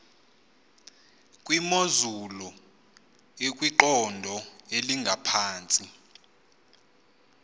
kwimozulu ekwiqondo elingaphantsi